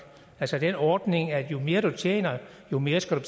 altså den ordning at jo mere du tjener jo mere skal du